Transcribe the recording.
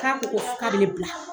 K'a ko ko ka bɛ ne bila.